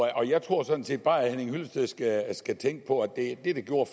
jeg tror sådan set bare at herre henning hyllested skal tænke på at det der gjorde